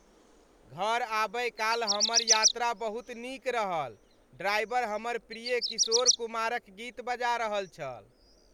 घर आबय काल हमर यात्रा बहुत नीक रहल। ड्राइवर हमर प्रिय किशोर कुमारक गीत बजा रहल छल ।